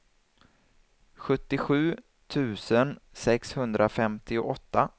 sjuttiosju tusen sexhundrafemtioåtta